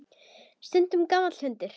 Stundum gamall hundur.